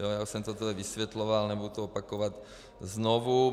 Já už jsem to tady vysvětloval, nebudu to opakovat znovu.